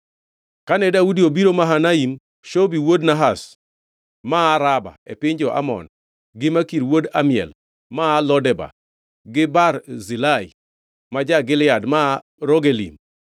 Kane Daudi obiro Mahanaim, Shobi wuod Nahash maa Raba e piny jo-Amon, gi Makir wuod Amiel maa Lo Debar, gi Barzilai ma ja-Gilead maa Rogelim,